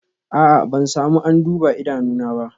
A'a, ban samu an duba idanuna ba